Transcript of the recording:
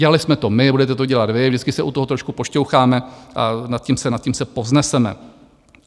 Dělali jsme to my, budete to dělat vy, vždycky se u toho trošku pošťoucháme a nad tím se povzneseme.